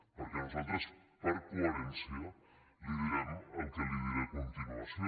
perquè nosaltres per coherència li direm el que li diré a continuació